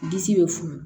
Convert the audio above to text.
Disi bɛ funu